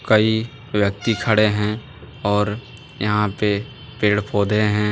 कई व्यक्ति खड़े हैं और यहां पे पेड़ पौधे हैं।